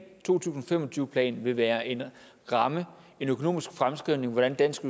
to tusind og fem og tyve plan vil være en ramme en økonomisk fremskrivning af hvordan dansk